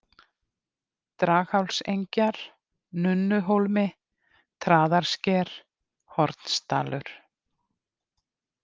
Draghálsengjar, Nunnuhólmi, Traðarsker, Hornsdalur